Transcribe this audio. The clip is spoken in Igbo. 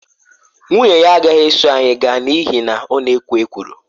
Nwunye ya agaghị eso anyị gaa n’ihi na ọ na-ekwo ekworo.